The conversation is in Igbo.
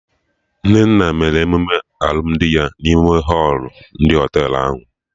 Nnenna mere emume alụmdi ya n'ime họlụ ndị Họtelụ ahụ